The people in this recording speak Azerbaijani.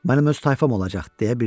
Mənim öz tayfam olacaq,